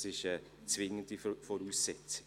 Das ist eine zwingende Voraussetzung.